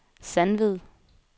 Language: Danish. Sandved